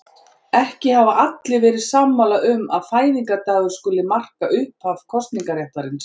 Ekki hafa allir alltaf verið sammála um að fæðingardagur skuli marka upphaf kosningaréttarins.